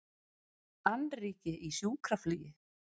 Annríki í sjúkraflugi